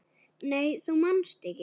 Nei þú manst ekki.